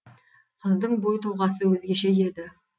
қыздың бой тұлғасы өзгеше еді